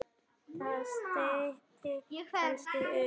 Það styttir kannski upp.